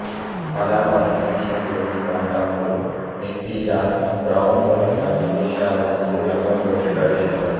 అలా మరణించిన జమీందార్ తమ్ముడు ఎన్టీయార్ బ్రౌన్ దొరగా విదేశాలనుండి రంగంలోకి ప్రవేశిస్తాడు